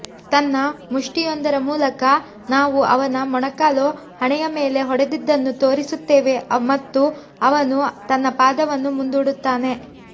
ತನ್ನ ಮುಷ್ಟಿಯೊಂದರ ಮೂಲಕ ನಾವು ಅವನ ಮೊಣಕಾಲು ಹಣೆಯ ಮೇಲೆ ಹೊಡೆದಿದ್ದನ್ನು ತೋರಿಸುತ್ತೇವೆ ಮತ್ತು ಅವನು ತನ್ನ ಪಾದವನ್ನು ಮುಂದೂಡುತ್ತಾನೆ